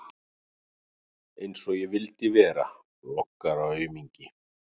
Einsog ég vildi vera blokkaraaumingi!